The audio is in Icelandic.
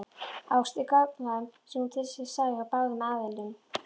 Ást er gagnkvæm sé hún til staðar hjá báðum aðilum.